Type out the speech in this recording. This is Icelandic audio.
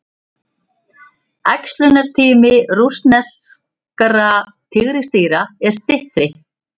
Æxlunartími rússneskra tígrisdýra er styttri.